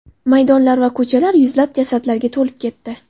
Maydonlar va ko‘chalar yuzlab jasadlarga to‘lib ketdi.